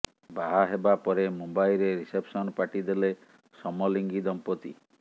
ବାହା ହେବା ପରେ ମୁମ୍ବାଇରେ ରିସେପସନ୍ ପାର୍ଟି ଦେଲେ ସମଲିଙ୍ଗୀ ଦଂପତି